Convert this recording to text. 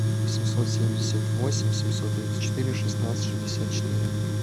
восемьсот семьдесят восемь семьсот тридцать четыре шестнадцать шестьдесят четыре